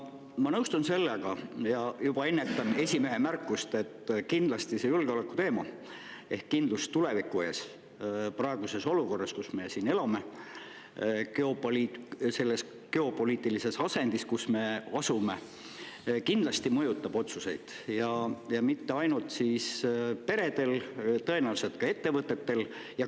Ma nõustun sellega – ja juba ennetan esimehe märkust –, et praeguses olukorras, milles me elame, ja selles geopoliitilises asendis, kus me asume, see julgeoleku teema ehk kindlus tuleviku ees kindlasti mõjutab otsuseid, ja mitte ainult perede puhul, vaid tõenäoliselt ka ettevõtete puhul.